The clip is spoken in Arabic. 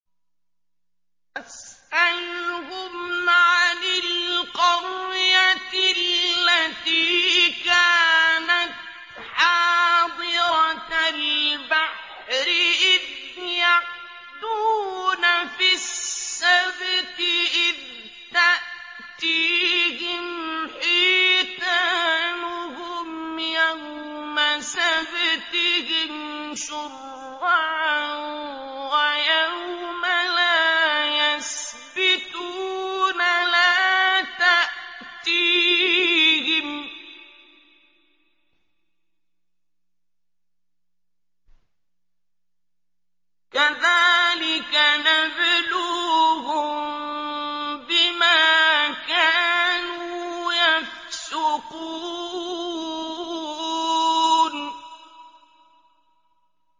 وَاسْأَلْهُمْ عَنِ الْقَرْيَةِ الَّتِي كَانَتْ حَاضِرَةَ الْبَحْرِ إِذْ يَعْدُونَ فِي السَّبْتِ إِذْ تَأْتِيهِمْ حِيتَانُهُمْ يَوْمَ سَبْتِهِمْ شُرَّعًا وَيَوْمَ لَا يَسْبِتُونَ ۙ لَا تَأْتِيهِمْ ۚ كَذَٰلِكَ نَبْلُوهُم بِمَا كَانُوا يَفْسُقُونَ